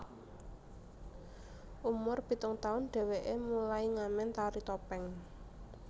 Umur pitung taun dheweke mulai ngamen tari topeng